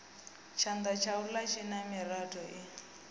tshanda tshaula tshina miratho i